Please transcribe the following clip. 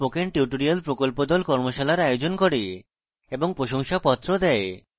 spoken tutorial প্রকল্প the কর্মশালার আয়োজন করে এবং প্রশংসাপত্র দেয়